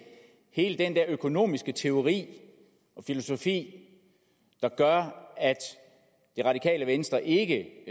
hele den der økonomiske teori og filosofi der gør at det radikale venstre ikke